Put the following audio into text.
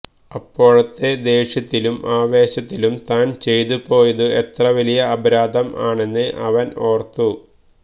അപ്പോഴത്തെ ദേഷ്യത്തിലും ആവേശത്തിലും താന് ചെയ്ത് പോയതു എത്ര വലിയ അപരാധം ആണെന്ന് അവന് ഓര്ത്തു